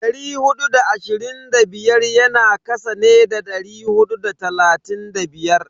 Dari hudu da ashirin da biyar yana kasa ne da dari hudu da talatin da biyar.